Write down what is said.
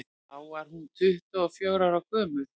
þá var hún tuttugu og fjögurra ára gömul